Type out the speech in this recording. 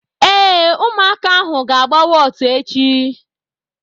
Ee, ụmụaka ahụ ga-agba wọtu echi.